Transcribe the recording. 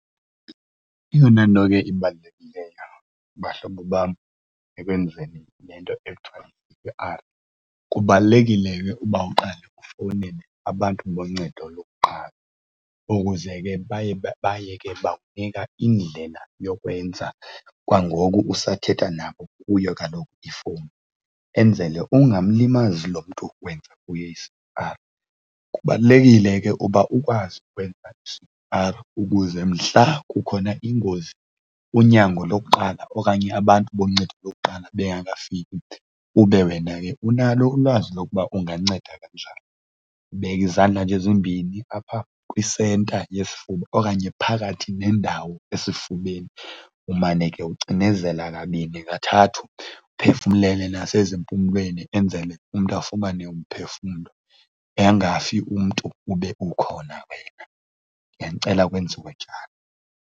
Eyona nto ke ibalulekileyo bahlobo bam ekwenzeni le nto ekuthiwa yi-C_P_R kubalulekile uba uqale efowunele abantu boncedo lokuqala ukuze ke baye baye ke bakunika indlela yokwenza kwangoku usathetha nabo kuyo kaloku ifowuni, enzele ungamlimazi lo mntu wenza kuye i-C_P_R. Kubalulekile ke ukuba ukwazi ukwenza i-C_P_R ukuze mhla kukhona ingozi, unyango lokuqala okanye abantu aboncedo lokuqala bengafiki ube wena ke unalo ulwazi lokuba unganceda kanjani. Ubeka izandla nje ezimbini apha kwisenta yesifuba okanye phakathi nendawo esifubeni umane ke ucinezela kabini kathathu, uphefumlele nasezimpumlweni enzele umntu afumane umphefumlo. Angafi umntu ube ukhona wena, ndiyanicela kwenziwe njalo.